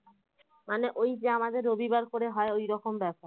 মানে ওই যে আমাদের রবিবার করে হয়ে ঐরকম ব্যাপার